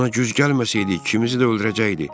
Ona güc gəlməsəydik, ikimizi də öldürəcəkdik.